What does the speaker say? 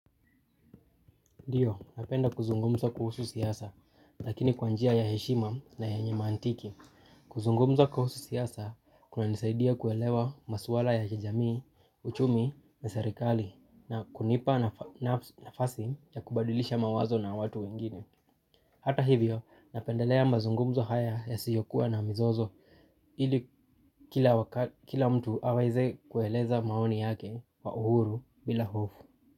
Ndiyo, napenda kuzungumza kuhusu siasa, lakini kwa njia ya heshima na yenye mantiki. Kuzungumza kuhusu siasa, kunanisaidia kuelewa maswala ya kijamii, uchumi, na serikali, na kunipa nafasi ya kubadilisha mawazo na watu wengine. Hata hivyo, napendelea mazungumzo haya yasiyokuwa na mizozo, ili kila mtu aweze kueleza maoni yake kwaa uhuru bila hofu.